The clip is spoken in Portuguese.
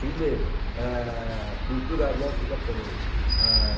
Primeiro, eh, acultura aliança japonesa. Ah...